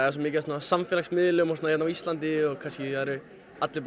af samfélagsmiðlum hérna á Íslandi og kannski það eru allir